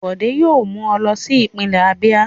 Bọ̀dé yóò mú ọ lọ sí ìpínlẹ̀ Abíà.